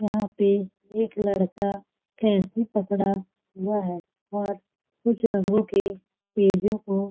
यहाँ पे एक लड़का कैंची पकड़ा हुआ है और कुछ रंगो के पेजों को--